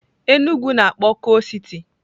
Enugwu na-akpọ coal city.